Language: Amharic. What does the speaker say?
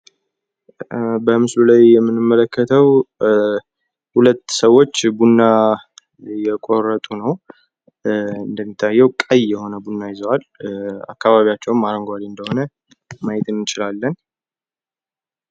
ማህበረሰብ የጋራ ችግሮችን ለመፍታት አባላቱን ያስተባብራል፤ ቤተሰብ ደግሞ በችግር ጊዜ የድጋፍ ምንጭ ይሆናል።